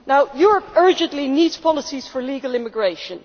Europe urgently needs policies for legal immigration.